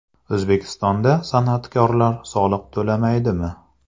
O‘zbekistonda san’atkorlar soliq to‘lamaydi(mi)?.